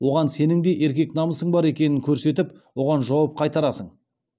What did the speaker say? оған сенің де еркек намысың бар екенін көрсетіп оған жауап қайтарасың